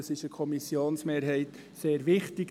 Diese Koppelung ist der Kommissionsmehrheit sehr wichtig.